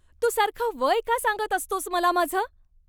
तू सारखं वय का सांगत असतोस मला माझं?